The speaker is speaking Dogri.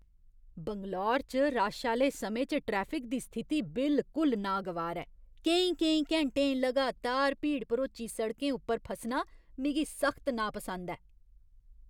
बैंगलोर च रश आह्‌ले समें च ट्रैफिक दी स्थिति बिल्कुल नागवार ऐ। केईं केईं घैंटे लगातार भीड़ भरोची सड़कें उप्पर फसना मिगी सख्त नापसंद ऐ।